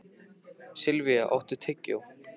Silvía, áttu tyggjó?